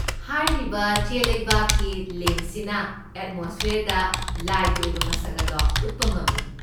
ꯍꯥꯏꯔꯤꯕ ꯆꯦꯂꯩꯕꯥꯛꯀꯤ ꯂꯦꯝꯞꯁꯤꯅ ꯑꯦꯠꯃꯣꯁꯐꯤꯌꯔꯗ ꯂꯥꯏꯒꯤ ꯑꯣꯏꯕ ꯃꯁꯛ ꯑꯗꯣ ꯎꯠꯄ ꯉꯝꯃꯤ꯫